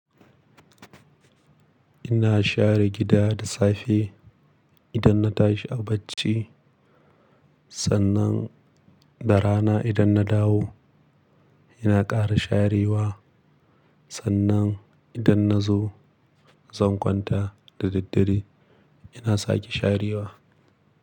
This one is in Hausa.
Ina share gida da safe idan na tashi a bacci, sannan da rana idan na dawo ina ƙara sharewa. Sannan idan na zo zan kwanta da daddare ina sake sharewa.